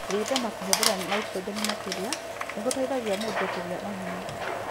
Gwĩthema kũhũthĩra N makĩria nĩ gũteithagia mũndũ kũgĩa na hinya.